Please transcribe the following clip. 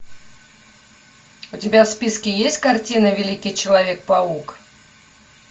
у тебя в списке есть картина великий человек паук